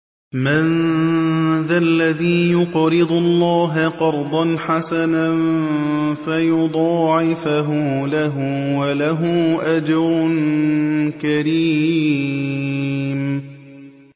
مَّن ذَا الَّذِي يُقْرِضُ اللَّهَ قَرْضًا حَسَنًا فَيُضَاعِفَهُ لَهُ وَلَهُ أَجْرٌ كَرِيمٌ